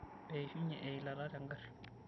Eishunye eilata tengari.